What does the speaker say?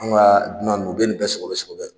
An ka dunan nunu u bɛ nin bɛ sogobɛ sogobɛ.